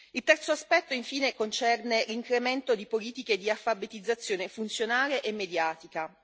Il terzo aspetto, infine, concerne l'incremento di politiche di alfabetizzazione funzionale e mediatica.